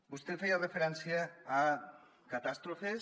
vostè feia referència a catàstrofes